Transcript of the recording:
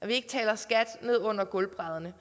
vi ikke taler skat ned under gulvbrædderne